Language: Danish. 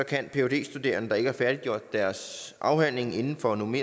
studere i i deres